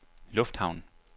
lufthavn